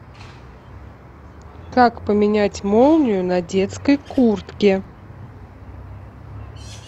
как поменять молнию на детской куртке